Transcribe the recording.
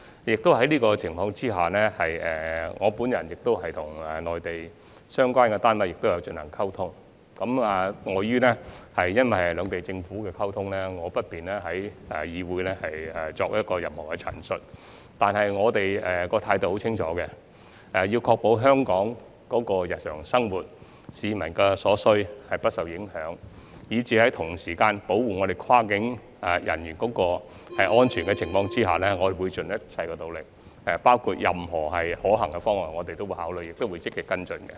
在這個情況下，我曾與內地相關單位溝通，礙於涉及兩地政府的溝通，我不便在會議上作任何陳述，但我們的態度很清楚，必須確保香港日常生活及市民所需的物資不受影響，在保護跨境人員安全的情況下，我們會盡一切努力，包括考慮任何可行的方案，並會積極跟進。